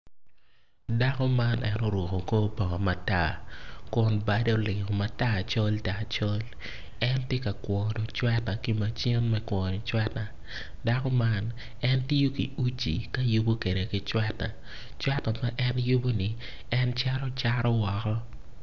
Dako man en oruko kor bongo matar kun badde olingo matar col tar col en tye ka wono cweta ki macin me kwono cweta dako man en tiyo ki uci ka yubo kwede ki cweta cweta ma en yuboni en cito cato woko.